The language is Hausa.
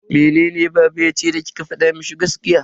Mene baba yace da kika fada mishi gaskiya?